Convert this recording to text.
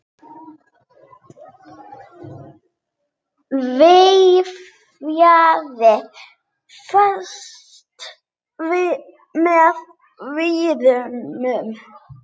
Vefjið fast með vírnum.